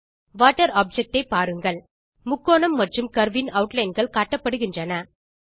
water object ஐ பாருங்கள் முக்கோணம் மற்றும் கர்வ் இன் ஆட்லைன் கள் காட்டப்படுகின்றன